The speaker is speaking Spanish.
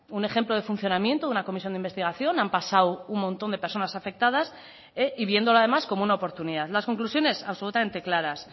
un ejemplo de funcionamiento de una comisión de investigación han pasado un montón de personas afectadas y viéndolo además como una oportunidad las conclusiones absolutamente claras